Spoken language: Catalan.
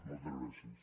moltes gràcies